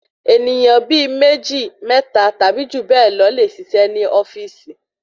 Ènìyàn bíi méjì mẹ́ta tàbí jù bẹ lọ le ṣiṣẹ́ ni ofíìsì